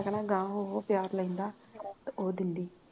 ਮੈ ਕਹਿਣਾ ਗਾਗਾਂ ਹੋਊ ਪਿਆਰ ਲੈਂਦਾ ਤੇ ਉਹ ਦਿੰਦੀ